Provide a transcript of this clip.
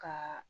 Ka